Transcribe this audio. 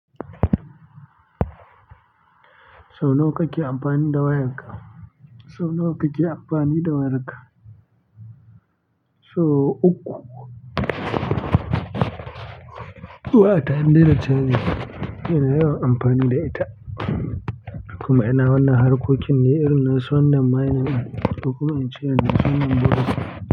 So nawa kake amfani da wayarka? So nawa kake amfani da wayarka? So uku. Wayata in dai da caji ina yawan amfani da ita. Kuma ina wannan harkokin ne irin nasu wannan mining ɗin ko kuma ince.